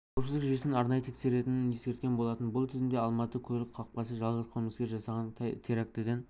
қауіпсіздік жүйесін арнайы тексеретінін ескерткен болатын бұл тізімде алматы көлік қақпасы жалғыз қылмыскер жасаған терактіден